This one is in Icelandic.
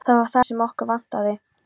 Það var það sem okkur vantaði.